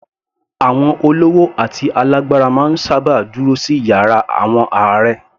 Àwọn olówó àti alágbára máa ń sábà dúró sí yàrá àwọn ààrẹ